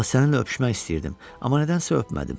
Vallahi, səninlə öpüşmək istəyirdim, amma nədənsə öpmədim.